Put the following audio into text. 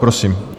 Prosím.